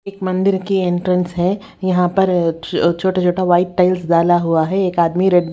एक मंदिर की एंट्रेंस है यहां पर छोटा-छोटा वाइट टाइल्स डाला हुआ है एक आदमी रेड --